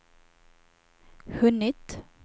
hunnit